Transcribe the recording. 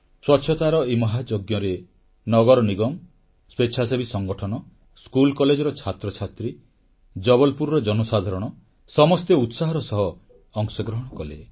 ସ୍ୱଚ୍ଛତାର ଏହି ମହାଯଜ୍ଞରେ ନଗର ନିଗମ ସ୍ୱେଚ୍ଛାସେବୀ ସଂଗଠନ ସ୍କୁଲ କଲେଜର ଛାତ୍ରଛାତ୍ରୀ ଜବଲପୁରର ଜନସାଧାରଣ ସମସ୍ତେ ଉତ୍ସାହର ସହ ଅଂଶଗ୍ରହଣ କଲେ